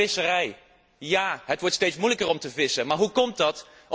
Maar ook in de visserij, ja, het wordt steeds moeilijker om te vissen, maar hoe komt dat?